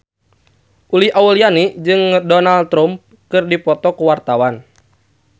Uli Auliani jeung Donald Trump keur dipoto ku wartawan